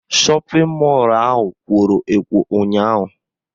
Shọpịn mọlụ ahụ kworo ekwo ụnyaahụ